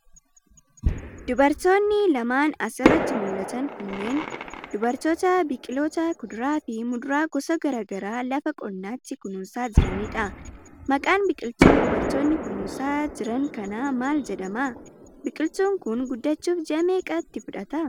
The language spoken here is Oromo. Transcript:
Dubartoonni lmaan as irratti mul'atan kunneen, dubartoota biqiloota kuduraa fi muduraa gosa gara garaa lafa qonnaatti kunuunsaa jiranii dha. Maqqan biqiltuu dubartoonni kunuunsaa jiran kanaa maal jedhama? Biqiltuun kun, guddachuuf ji'a meeqa itti fudhata?